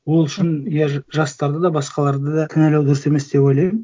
ол үшін я жастарды да басқаларды да кінәлау дұрыс емес деп ойлаймын